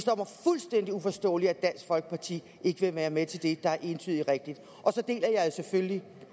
fuldstændig uforståeligt at dansk folkeparti ikke vil være med til det der er entydigt rigtigt og så deler jeg